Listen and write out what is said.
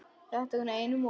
Þetta er nú einum of!